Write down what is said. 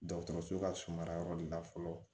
Dɔgɔtɔrɔso ka suma yɔrɔ de la fɔlɔ